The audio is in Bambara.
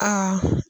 Aa